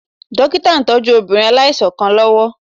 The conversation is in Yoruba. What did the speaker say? Dókítà ń tọ́jú obìnrin aláìsàn kan lọ́wọ́